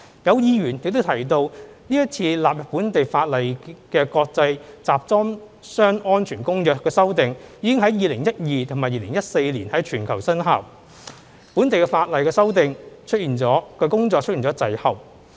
有議員亦提及是次納入本地法例的《公約》修訂已於2012年及2014年在全球生效，本地的法例修訂工作出現滯後。